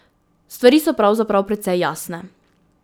Stvari so pravzaprav precej jasne.